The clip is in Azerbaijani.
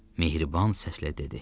Mehriban səslə dedi: